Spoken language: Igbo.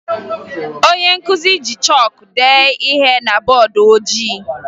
Onye nkụzi ji chọọkụ dee ihe na bọọdụ ojii